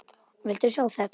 Viltu sjá þetta!